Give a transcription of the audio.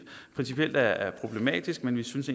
principielt er problematisk men vi synes